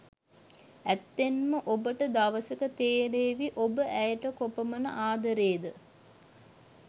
ඇත්තෙන්ම ඔබට දවසක තෙරේවි ඔබ ඇයට කොපමන ආදරේද.